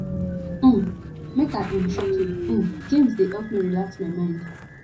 um make i um shock you um games dey help me relax my mind